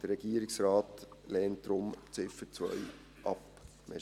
Der Regierungsrat lehnt die Ziffer 2 deshalb ab.